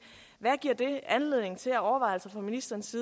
anledning til af overvejelser fra ministerens